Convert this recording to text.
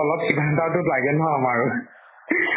অলপ কিবা এটা টো লাগে ন আমাৰো